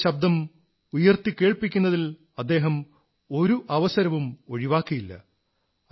തന്റെ ശബ്ദം ഉയർത്തിക്കേൾപ്പിക്കുന്നതിൽഅദ്ദേഹം ഒരു അവസരവും ഒഴിവാക്കിയില്ല